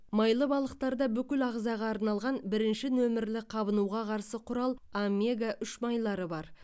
майлы балықтарда бүкіл ағзаға арналған бірінші нөмірлі қабынуға қарсы құрал омега үш майлары бар